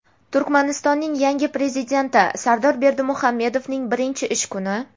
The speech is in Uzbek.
Turkmanistonning yangi Prezidenti Sardor Berdimuhamedovning birinchi ish kuni.